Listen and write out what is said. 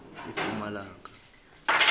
epumalanga